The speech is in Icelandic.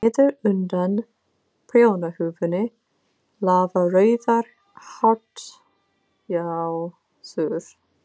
Niður undan prjónahúfunni lafa rauðar hártjásur.